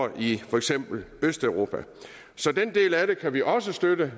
i for eksempel østeuropa så den del af det kan vi også støtte